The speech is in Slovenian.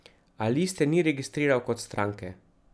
A liste ni registriral kot stranke.